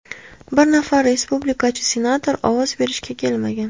Bir nafar respublikachi senator ovoz berishga kelmagan.